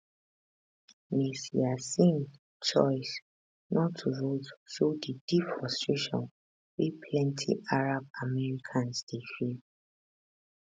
ms yassin choice not to vote show di deep frustration wey plenti arab americans dey feel